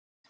Ísis